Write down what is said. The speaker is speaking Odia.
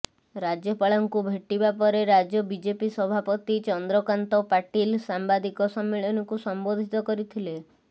ରାଜ୍ୟପାଳଙ୍କୁ ଭେଟିବା ପରେ ରାଜ୍ୟ ବିଜେପି ସଭାପତି ଚନ୍ଦ୍ରକାନ୍ତ ପାଟିଲ ସାମ୍ବାଦିକ ସମ୍ମିଳନୀକୁ ସମ୍ବୋଧିତ କରିଥିଲେ